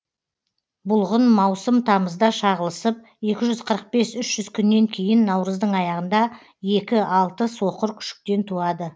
бұлғын маусым тамызда шағылысып екі жүз қырық бес үш жүз күннен кейін наурыздың аяғында екі алты соқыр күшіктен туады